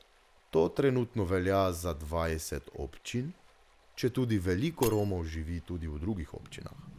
To trenutno velja za dvajset občin, četudi veliko Romov živi tudi v drugih občinah.